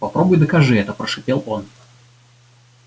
попробуй докажи это прошипел он